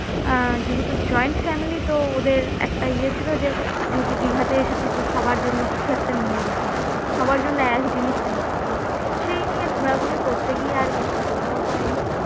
আহ যেহেতু joint family তো ওদের একটা ইয়ে ছিল যে যেহেতু দীঘাতে এসেছি তো সবার জন্য কিছু একটা নিয়ে যেতে হবে সবার জন্য এক জিনিস নিয়ে যেতে হবে সেই নিয়ে ঘোরাঘুরি করতে গিয়ে আর বেশি ঘোরাও হয়নি